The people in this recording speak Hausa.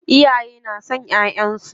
Iyaye na son ƴaƴansu.